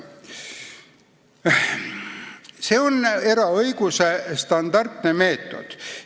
See on eraõiguse standardne meetod.